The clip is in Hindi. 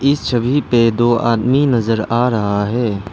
इस छवि पे दो आदमी नजर आ रहा है।